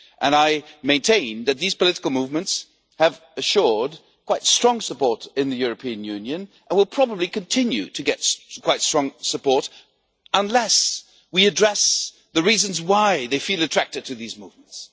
I maintain that these political movements have assured quite strong support in the European Union and will probably continue to get quite strong support unless we address the reasons why they feel attracted to these movements.